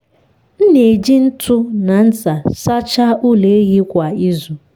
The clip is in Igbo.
m na-eji ntu na ncha sachaa ụlọ ehi kwa izu.